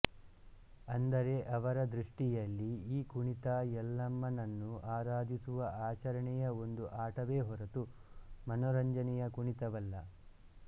ಅಂದರೆ ಅವರ ದೃಷ್ಟಿಯಲ್ಲಿ ಈ ಕುಣಿತ ಯಲ್ಲಮ್ಮನನ್ನು ಆರಾಧಿಸುವ ಆಚರಣೆಯ ಒಂದು ಆಟವೇ ಹೊರತು ಮನರಂಜನೆಯ ಕುಣಿತವಲ್ಲ